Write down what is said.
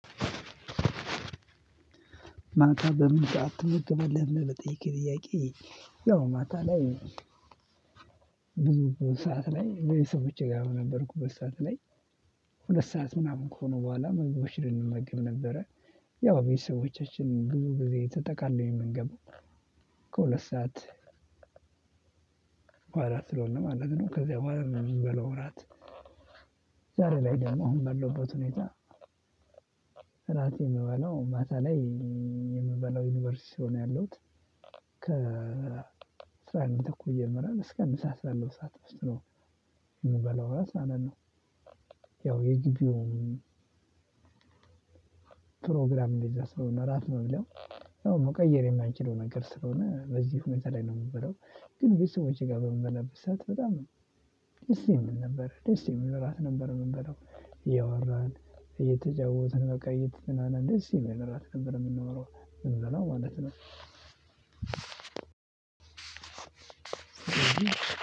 ማታ በምን ሰዓት ትምህርት በለህ ለመጠየቅ ጥያቄ? ያው ማታ ላይ። ብዙ ሰዓት ላይኸ በየሰው ብቻ ጋር ነበርኩ በሰአት ላይ። ሁለት ሰዓት ምናምን ከሆኑ በኋላ ምግቦች ልንመገብ ነበረ። ያው ቤተሰቦቻችን ብዙ ጊዜ ተጠቃለው የምንገባው። ከሁለት ሰዓት በኋላ ስለሆነ ማለት ነው ከዛ በኋላ ነው የምንበላው እራት። ዛሬ ላይ ደግሞ አሁን በለውበት ሁኔታ። ራሴ የምበላው ማታ ላይ የምበላው ዩኒቨርሲቲ ሲሆን ያለውት ከ እስራኤል አንድ ተኩል ይጀምራል እስከ ምሳ ሰዓት ያለው ውስጥ ነው። የምበላው ራስ ማለት ነው። ያው የጊቢውን ፕሮግራም እንደዛ ስለሆነ ራሱ ነው የሚለው። ያው መቀየር የማይችለው ነገር ስለሆነ በዚህ ሁኔታ ላይ ነው የምበለው። ግን ቤተሰቦቼ ጋር በምበላበት ሰዓት በጣም ነው ደስ የሚል ነበር። ደስ የምንል እራት ነበር የምንበለው ያወራን እየተጫወትን በቃ የት ምናምን ደስ ሲመራ አልከበረም የምንኖረው። ማለት ነው።